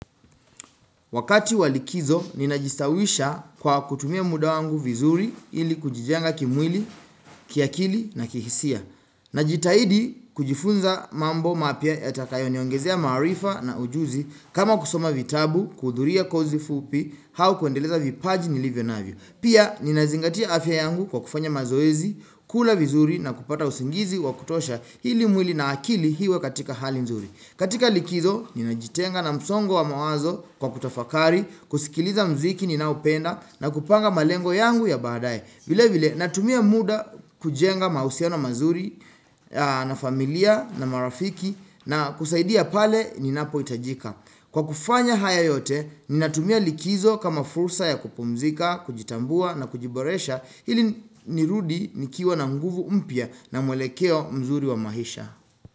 Wakati walikizo, ninajistawisha kwa kutumia muda wangu vizuri ili kujijenga kimwili, kiakili na kihisia. Najitahidi kujifunza mambo mapya yatakayo niongezea maarifa na ujuzi kama kusoma vitabu, kuhudhuria kozi fupi, hau kuendeleza vipaji nilivyo navyo. Pia, ninazingatia afya yangu kwa kufanya mazoezi, kula vizuri na kupata usingizi wa kutosha hili mwili na akili hiwe katika hali nzuri. Katika likizo, ninajitenga na msongo wa mawazo kwa kutafakari, kusikiliza muziki ninaopenda na kupanga malengo yangu ya baadaye. Vile vile, natumia muda kujenga mahusino mazuri na familia na marafiki na kusaidia pale ninapo hitajika. Kwa kufanya haya yote, nina tumia likizo kama fursa ya kupumzika, kujitambua na kujiboresha hili nirudi nikiwa na nguvu mpya na mwelekeo mzuri wa maisha.